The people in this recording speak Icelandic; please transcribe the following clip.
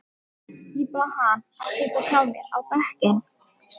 Ég bað hann að setjast hjá mér á bekkinn.